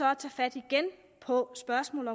at tage fat på spørgsmålet